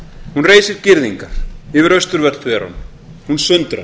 hún reisir girðingar yfir austurvöll þveran hún sundrar